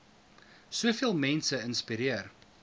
soveel mense inspireer